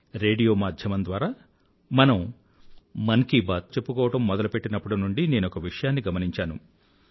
radio మాధ్యమం ద్వారా మనం మనసులో మాటలు చెప్పుకోవడం మొదలుపెట్టినప్పటి నుండీ నేనొక విషయాన్ని గమనించాను